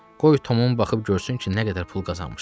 Qoy Tomun baxıb görsün ki, nə qədər pul qazanmışam.